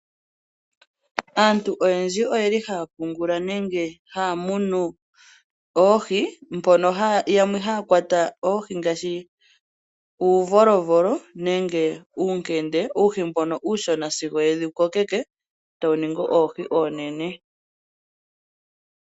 Aantu oyendji oyeli haya pungula nenge haya munu oohi, mbono yamwe haya kwata oohi ngaashi uuvolovolo nenge uunkende ano uuhi mbono sigo yewu kokeke tawu ningi oohi oonene.